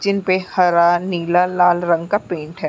जिन पे हरा नीला लाल रंग का पेंट है।